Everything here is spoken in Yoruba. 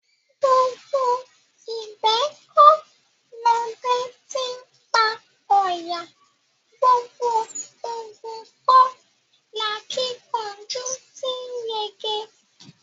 Gbogbo ìgbẹ́ kọ́ lọdẹ ti ńpa ọ̀yà; gbogbo ogun kọ́ lakíkanjú ti ńyege.